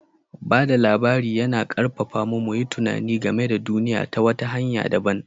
Ba da labari yana ƙarfafa mu mu yi tunani game da duniya ta wata hanya dabam.